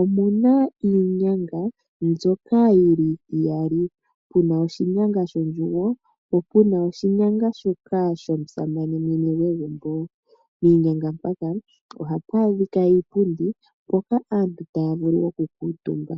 omuna iinyanga mbyoka yili iyali, puna oshinyanga shondjugo po puna oshinyanga shoka shomusamane mwene gwegumbo. Piinyanga mpaka ohapu adhika iipundi mpoka aantu taya vulu okukuutumba.